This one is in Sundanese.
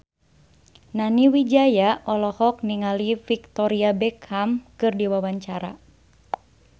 Nani Wijaya olohok ningali Victoria Beckham keur diwawancara